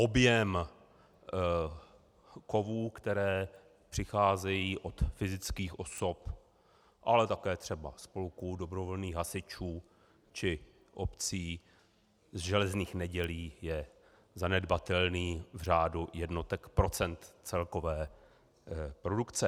Objem kovů, které přicházejí od fyzických osob, ale také třeba spolků, dobrovolných hasičů či obcí, z železných nedělí je zanedbatelný v řádu jednotek procent celkové produkce.